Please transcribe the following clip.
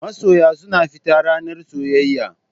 Masoya suna fita ranar soyayya.